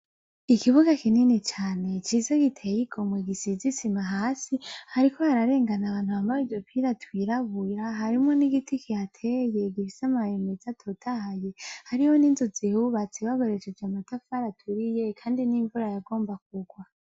Ikibuga kinini cane ciza giteye igomwe gisize isima hasi hariko hararengana abantu bambaye udupira twirabura harimwo nigiti kihateye gifise amababi meza atotahaye hari ninzu zihubatse babohesheje amatafari aturiye kandi n'imvura ikaba igomba kugwa.